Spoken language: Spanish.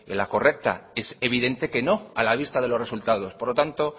la correcta es evidente que no a la vista de los resultados por lo tanto